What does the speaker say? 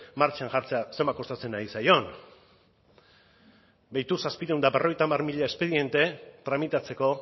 martxan jartzea zenbat kostatzen ari zaion behitu setecientos cincuenta mil espediente tramitatzeko